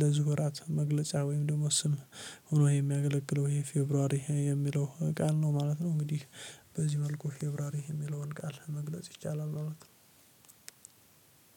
ለዚህ ወራት መግለጫ ወይም ደግሞ ስም ሆኖ የሚያገለግለው ይሄ ፌብሩዋሪ የሚለው ቃል ነው ማለት ነው። እንግዲህ በዚህ መልኩ ፌብሩዋሪ የሚለውን ቃል መግለጽ ይቻላል ማለት ነው።